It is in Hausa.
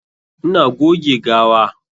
Ina goge gawa.